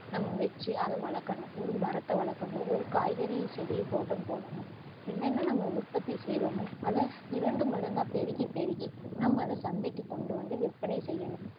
நம்ம வச்சு அதை வளக்கணும் ஒரு மரத்தை வளக்கணும் ஒரு காய்கறி செடிய தோட்டம் போடணும் என்னென்ன நம்ம உற்பத்தி செய்யுறோமோ அதை இரண்டு மடங்கா பெருகி பெருகி நம்ம அதை சந்தைக்கு கொண்டு வந்து விற்பனை செய்யணும்